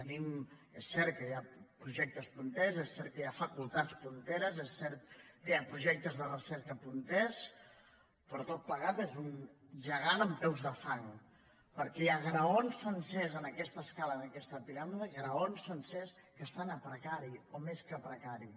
és cert que hi ha projectes punters és cert que hi ha facultats punteres és cert que hi ha projectes de recerca punters però tot plegat és un gegant amb peus de fang perquè hi ha graons sencers en aquesta escala en aquesta piràmide gra·ons sencers que estan a precari o més que a precari